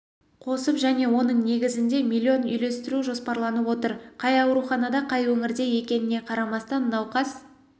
қосып және оның негізінде миллион үйлестіру жоспарланып отыр қай ауруханада қай өңірде екеніне қарамастан науқас